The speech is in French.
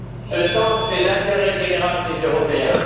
Ce sens, c'est l'intérêt général des Européens.